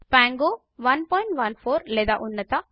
Pango 114 లేదా ఉన్నత